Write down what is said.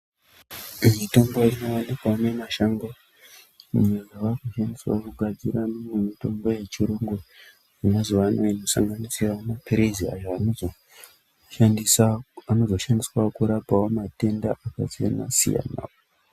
Mitombo inowanikwa mumashango yaakugadzira mimwe mitombo yechirungu yemazuva ano inosanganisira maphirizi ayo anozo shandiswa kurapawo matenda akasiyana-siyana.